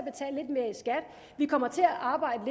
vi kommer til at arbejde